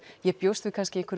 ég bjóst kannski við